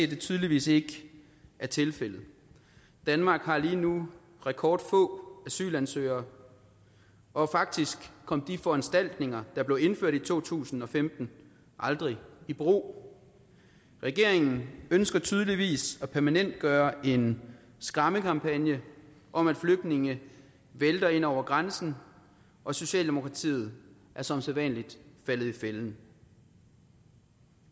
det tydeligvis ikke er tilfældet danmark har lige nu rekordfå asylansøgere og faktisk kom de foranstaltninger der blev indført i to tusind og femten aldrig i brug regeringen ønsker tydeligvis at permanentgøre en skræmmekampagne om at flygtninge vælter ind over grænsen og socialdemokratiet er som sædvanlig faldet i fælden